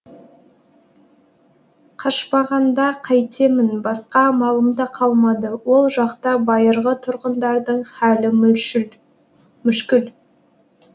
қашпағанда қайтемін басқа амалым да қалмады ол жақта байырғы тұрғындардың халі мүшкіл